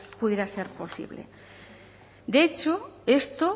pudiera ser posible de hecho esto